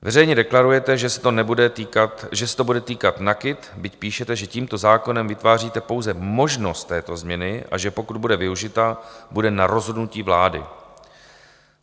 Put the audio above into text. Veřejně deklarujete, že se to bude týkat NAKIT, byť píšete, že tímto zákonem vytváříte pouze možnost této změny a že pokud bude využita, bude na rozhodnutí vlády.